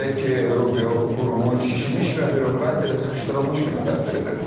Belə ki, Rubio qurumu şişmiş və bürokratiya ilə sıxışdırılmış kimi təsvir edib.